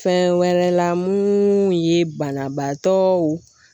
Fɛn wɛrɛ la mun ye banabaatɔw